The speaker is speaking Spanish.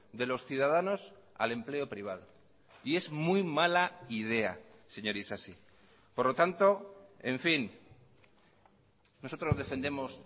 de los ciudadanos al empleo privado y es muy mala idea señor isasi por lo tanto en fin nosotros defendemos